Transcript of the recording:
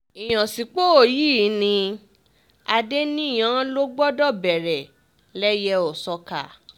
ìyànsípò yìí ni adènìyàn ló gbọdọ̀ bẹ̀rẹ̀ lẹ́yẹ-ò-sọkà